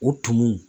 U tumu